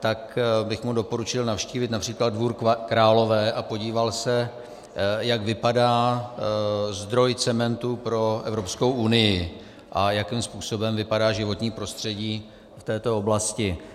tak bych mu doporučil navštívit například Dvůr Králové a podíval se, jak vypadá zdroj cementu pro Evropskou unii a jakým způsobem vypadá životní prostředí v této oblasti.